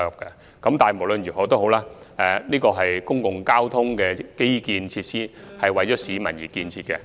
不過，無論如何，這是公共交通基建設施，是為市民而建設的。